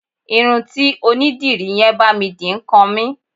Irun tí onídìrí yẹn bá mi dì ń kan mí.